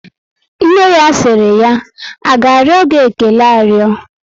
Nne ya siri ya, A ga ario gị ékélé ario?